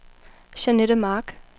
Jeanette Mark